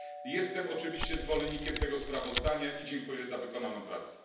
Jestem oczywiście zwolennikiem tego sprawozdania i dziękuję za wykonaną pracę.